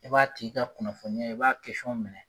I ba tigi ka kunnafoniya ye, i b'a minɛ